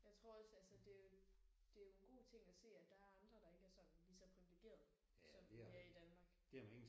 Jeg tror også altså det er jo det er jo en god ting at se at der er andre der ikke er sådan lige så privilegerede som vi er i Danmark